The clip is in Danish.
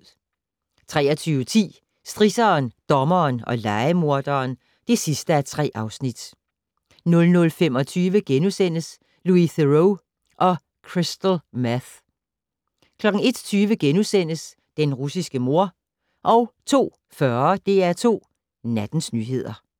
23:10: Strisseren, dommeren og lejemorderen (3:3) 00:25: Louis Theroux og Crystal Meth * 01:20: Den russiske mor * 02:40: DR2 Nattens nyheder